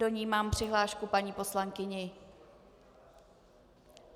Do ní mám přihlášku paní poslankyně.